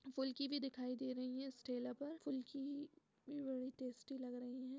फुल्की भी दिखाई दे रही हैं इस ठेला पर फुल्की भी बड़ी टेस्टी लग रही हैं।